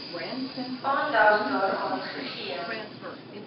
aandag daaraan gegee